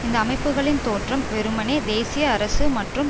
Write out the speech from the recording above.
இந்தஅமைப்புகளின் தோற்றம் வெறுமனேதேசிய அரசு மற்றும்